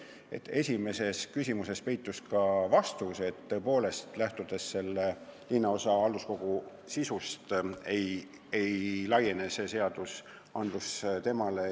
Aga esimeses küsimuses peitus ka vastus: tõepoolest, lähtudes linnaosakogu töö sisust, ei laiene see seadus temale.